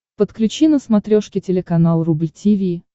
подключи на смотрешке телеканал рубль ти ви